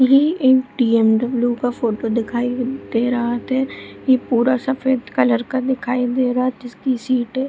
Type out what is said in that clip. ये एक टी.एम.डबल्यू. का फोटो दिखाई दे रहत है इ पूरा सफ़ेद कलर का दिखाई दे रहा जिसकी सीटे --